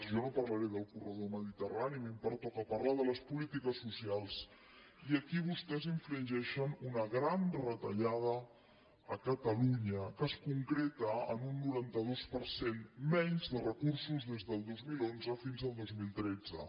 jo no parlaré del corredor mediterrani a mi em pertoca parlar de les polítiques socials i aquí vostès infringeixen una gran retallada a catalunya que es concreta en un noranta dos per cent menys de recursos des del dos mil onze fins al dos mil tretze